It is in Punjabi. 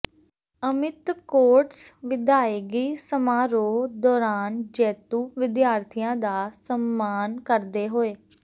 ਅਮਿਤ ਕੌਟਸ ਵਿਦਾਇਗੀ ਸਮਾਰੋਹ ਦੋਰਾਨ ਜੇਤੂ ਵਿਦਿਆਰਥੀਆਂ ਦਾ ਸਨਮਾਨ ਕਰਦੇ ਹੋਏੇ